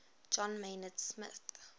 john maynard smith